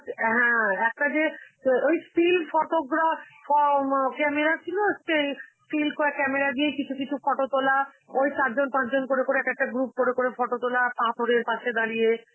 হ্যাঁ, একটা যে অ ওই still photograph ফও ম~ camera ছিল একটা এই, still কয়~ camera দিয়েই কিছু কিছু photo তোলা, ওই চারজন পাঁচজন করে করে এক একটা group করে করে photo তোলা, এর পাশে দাঁড়িয়ে,